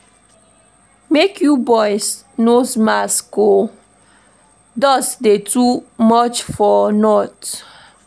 Make you buy nose mask o, dust dey too much for north.